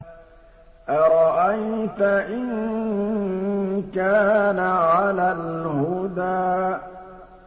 أَرَأَيْتَ إِن كَانَ عَلَى الْهُدَىٰ